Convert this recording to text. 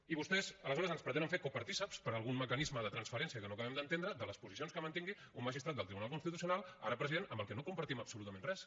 i vostès aleshores ens pretenen fer copartícips per algun mecanisme de transferència que no acabem d’entendre de les posicions que mantingui un magistrat del tribunal constitucional ara president amb el que no compartim absolutament res